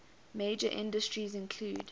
major industries include